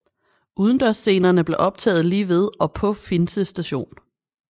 Udendørsscenerne blev optaget lige ved og på Finse station